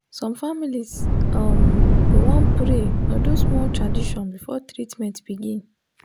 some families um go want pray or do small tradition before treatment begin.